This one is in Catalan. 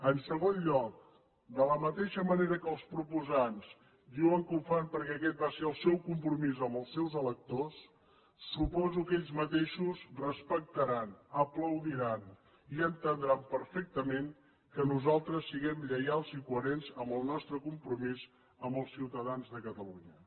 en segon lloc de la mateixa manera que els proposants diuen que ho fan perquè aquest va ser el seu compromís amb els seus electors suposo que ells mateixos respectaran aplaudiran i entendran perfectament que nosaltres siguem lleials i coherents amb el nostre compromís amb els ciutadans de catalunya